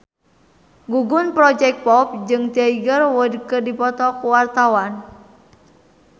Gugum Project Pop jeung Tiger Wood keur dipoto ku wartawan